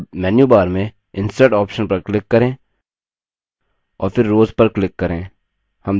अब मेन्यूबार में insert option पर click करें और फिर rows पर click करें